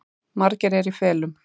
Margir eru í felum